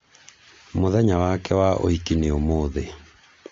mũthenya wake wa ũhiki nĩ ũmũthĩ